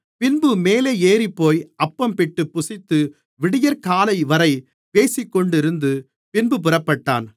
பின்பு மேலே ஏறிப்போய் அப்பம்பிட்டு புசித்து விடியற்காலைவரை பேசிக்கொண்டிருந்து பின்பு புறப்பட்டான்